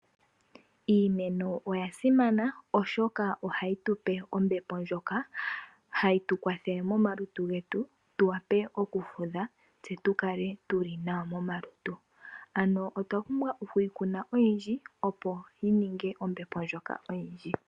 Iimeno oyasimana oshoka ohahi tupe ombepp ndjoka hayi tukwathele momalutu getu tuwape okufudha tse tukale tuli nawa momalutu ano otwapumbwa okuyikuna oyindji opo yininge ombepo ndjoka oyindji.